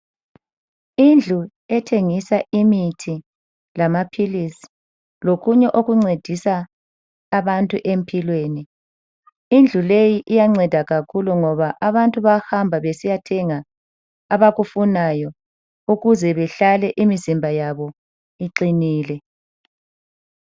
Indlu ethengisa imithi lamaphilisi lokunye okuncedisa abantu empilweni. Indlu leyi iyanceda kakhulu ngoba abantu bayahamba besiya thenga abakufunayo ukuze behlale imzimba yabo iqinile.